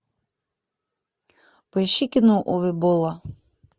поищи кино уве болла